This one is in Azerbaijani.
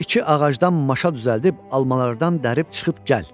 İki ağacdan maşa düzəldib almalardan dərib çıxıb gəl.